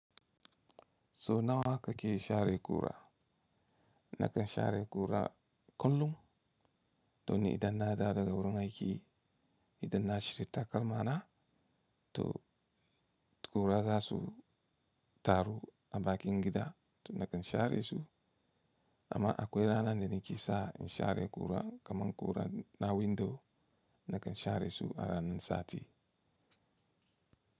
So nawa kake share ƙura? Nakan share ƙura kullum. Don idan na dawo daga wurin aiki, idan na shirya takalmana to kura za su taru a bakin gida to nakan share su. Amma akwai rana da nake sa in share kura kaman kura na window nakan share su a ranan sati.